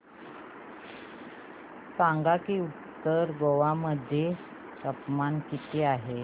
सांगा की उत्तर गोवा मध्ये तापमान किती आहे